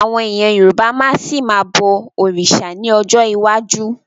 Àwọn èèyàn Yorùbá máa ṣì ma bọ̀ òrìṣà ní ọjọ́ iwájú